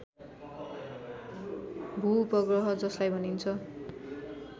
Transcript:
भूउपग्रह जसलाई भनिन्छ